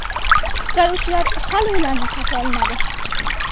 Qutqaruvchilar hali ularni topa olmadi.